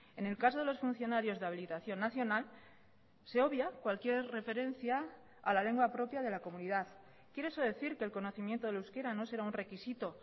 en el caso de los funcionarios de habilitación nacional se obvia cualquier referencia a la lengua propia de la comunidad quiere eso decir que el conocimiento del euskera no será un requisito